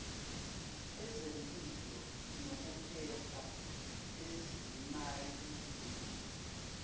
ezempilo nokuphepha ezimayini